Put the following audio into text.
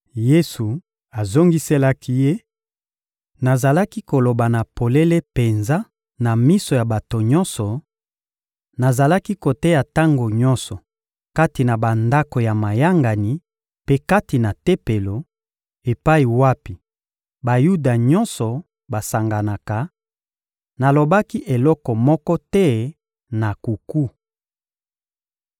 Yesu azongiselaki ye: — Nazalaki koloba na polele penza na miso ya bato nyonso, nazalaki koteya tango nyonso kati na bandako ya mayangani mpe kati na Tempelo, epai wapi Bayuda nyonso basanganaka; nalobaki eloko moko te na nkuku.